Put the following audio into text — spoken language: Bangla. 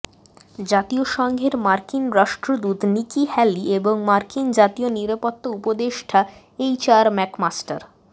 জাতিসংঘের মার্কিন রাষ্ট্রদূত নিকি হ্যালি এবং মার্কিন জাতীয় নিরাপত্তা উপদেষ্টা এইচআর ম্যাকমাস্টার